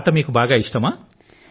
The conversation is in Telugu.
ఆట మీకు బాగా ఇష్టమా